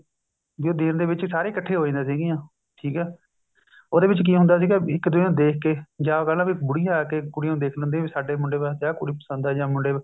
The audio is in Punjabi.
ਵੀ ਉਹ ਦਿੰਨ ਦੇ ਵਿੱਚ ਸਾਰੇ ਸਾਰੀਆਂ ਇੱਕਠੀਆਂ ਹੋ ਜਾਂਦੀਆਂ ਸੀਗੀਆਂ ਠੀਕ ਹੈ ਉਹਦੇ ਵਿੱਚ ਕੀ ਹੁੰਦਾ ਸੀਗਾ ਇੱਕ ਦੂਜੇ ਨੂੰ ਦੇਖ ਕੇ ਜਾਂ ਪਹਿਲਾਂ ਵੀ ਬੁੜੀਆਂ ਆਕੇ ਕੁੜੀਆਂ ਨੂੰ ਦੇਖ ਲੈਦੀਆ ਵੀ ਸਾਡੇ ਮੁੰਡੇ ਵਾਸਤੇ ਆ ਕੁੜੀ ਪਸੰਦ ਹੈ ਜਾਂ ਮੁੰਡੇ ਨੂੰ